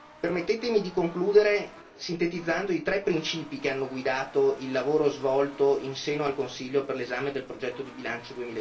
Permettetemi di concludere sintetizzando i tre principi che hanno guidato il lavoro svolto in seno al Consiglio per l'esame del progetto di bilancio